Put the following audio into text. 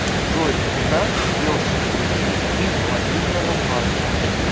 джой куда делся кредит из мобильного банка